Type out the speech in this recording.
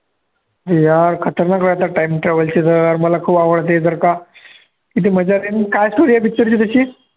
हे यार खतरनाक वाटतात time travel ची तर यार मला यार खूप आवडते, जर का किती मजा आहे काय story आहे picture ची त्याची